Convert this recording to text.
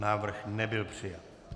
Návrh nebyl přijat.